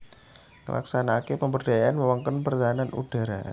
Nglaksanakaké pemberdayaan wewengkon pertahanan udhara